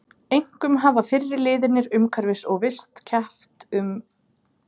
Einkum hafa fyrri liðirnir umhverfis- og vist- keppt um hylli fólks.